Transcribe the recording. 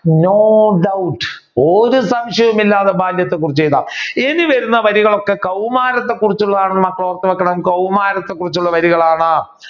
no doubt ഒരു സംശയവും ഇല്ലാതെ ബാല്യത്തെ കുറിച്ച് എഴുതാം ഇനി വരുന്ന വരികൾ ഒക്കെ കൗമാരത്തെ കുറിച്ചുള്ളതാണെന് മക്കൾ ഓർത്തുവെക്കണം കൗമാരത്തെ കുറിച്ചുള്ള വരികളാണ്.